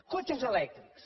cotxes elèctrics